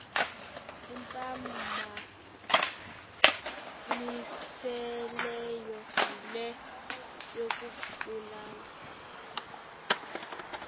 imphambanisileyo yile yokubulala